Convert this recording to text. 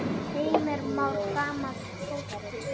Bjarni Jó: Bara tveir?!